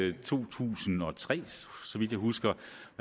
i to tusind og tre så vidt jeg husker